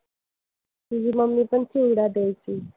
तुझी मम्मीपण चिवडा द्यायची.